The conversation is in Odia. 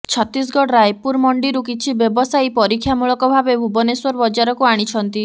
ଛତିଶଗଡ଼ ରାୟପୁର ମଣ୍ଡିରୁ କିଛି ବ୍ୟବସାପୟୀ ପରୀକ୍ଷାମୂଳକଭାବେ ଭୁବନେଶ୍ୱର ବଜାରକୁ ଆଣିଛନ୍ତି